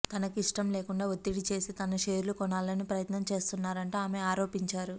తనకు ఇష్టం లేకుండా ఒత్తిడి చేసి తన షేర్లు కొనాలని ప్రయత్నం చేస్తున్నారంటూ ఆమె ఆరోపించారు